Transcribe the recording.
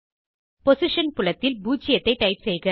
position புலத்தில் 0 ஐ type செய்க